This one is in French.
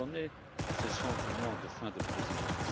Je connais ce sentiment de fin de Présidence.